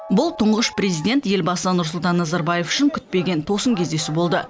бұл тұңғыш президент елбасы нұрсұлтан назарбаев үшін күтпеген тосын кездесу болды